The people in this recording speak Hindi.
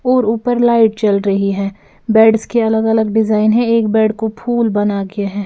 और ऊपर लाइट जल रही है बेड्स के अलग-अलग डिजाइन है एक बेड को फूल बना के है।